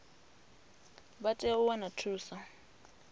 vha tea u wana thuso